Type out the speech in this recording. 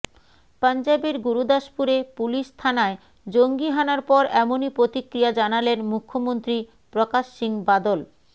পঞ্জাবের গুরুদাসপুরে পুলিশ থানায় জঙ্গিহানার পর এমনই প্রতিক্রিয়া জানালেন মুখ্যমন্ত্রী প্রকাশ সিং বাদল